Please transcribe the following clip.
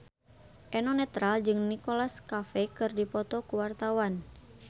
Eno Netral jeung Nicholas Cafe keur dipoto ku wartawan